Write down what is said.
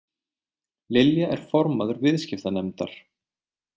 Lilja er formaður viðskiptanefndar